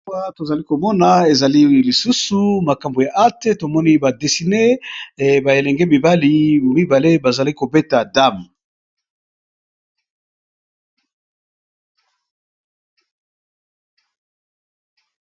Awa tozali komona ezali lisusu makambo ya acte tomoni ba desine ba elenge mibali moko mibale bazali kobeta dame.